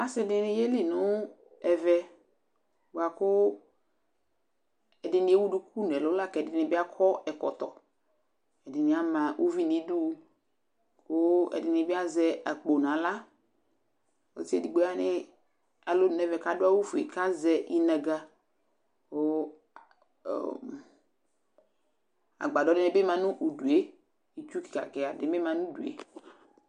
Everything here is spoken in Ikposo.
ase di ni ye li no ɛvɛ boa ko ɛdini ewu duku no ɛlo lako ɛdini bi akɔ ɛkɔtɔ ɛdini ama uvi no idu ko ɛdini bi azɛ akpo no ala ɔse edigbo ya no alonu no ɛvɛ ko ado awu fue ko azɛ inaga ko agbadɔ di bi ma no udue itsu keka keka ni bi ma no udue